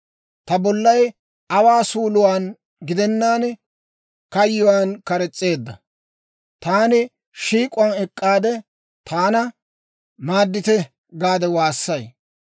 Ta bollay aawaa suuluwaan gidennaan kayyuwaan kares's'eedda; taani shiik'uwaan ek'k'aade, ‹Taana maaddite!› gaade waassay.